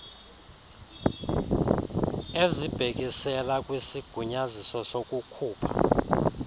ezibhekisela kwisigunyaziso sokukhupha